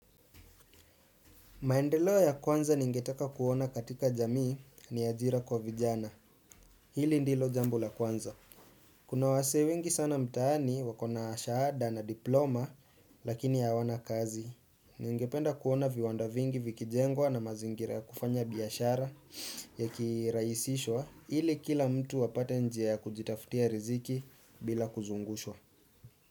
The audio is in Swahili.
Maendelo ya kwanza ningeteka kuona katika jamii ni ajira kwa vijana. Hili ndilo jambo la kwanza. Kuna wasee wengi sana mtaani wakona ashaada na diploma lakini awana kazi. Ningependa kuona viwanda vingi vikijengwa na mazingira kufanya biyashara ya kiraisishwa hili kila mtu wapate njia ya kujitaftia riziki bila kuzungushwa.